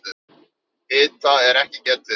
Hita er ekki getið.